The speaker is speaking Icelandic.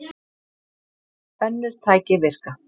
Önnur tæki virka.